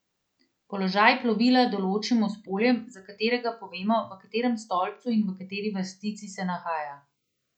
Položaj plovila določimo s poljem, za katerega povemo, v katerem stolpcu in v kateri vrstici se nahaja.